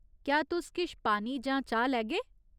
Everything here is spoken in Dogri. क्या तुस किश पानी जां चाह् लैगे?